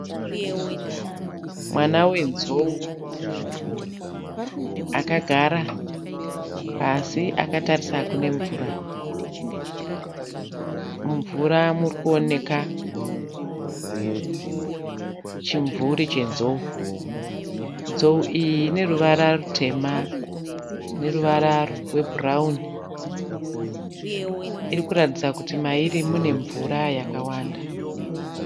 Mwana wenzou akagara pasi akatarisa kune mvura. Mumvura muri kuoneka chimvuri chenzou. Nzou iyi ine ruvara rutema neruvara rwebhurauni. Iri kuratidza kuti mairi mune mvura yakawanda.